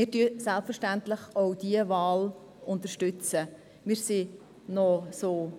Selbstverständlich unterstützen wir auch diese Wahl.